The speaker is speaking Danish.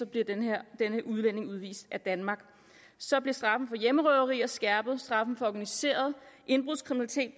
bliver denne udvist af danmark så bliver straffen for hjemmerøverier skærpet straffen for organiseret indbrudskriminalitet